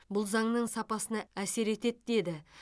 бұл заңның сапасына әсер етеді деді